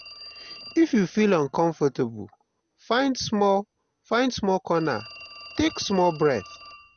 if you feel uncomfortable find small find small corner take small breath.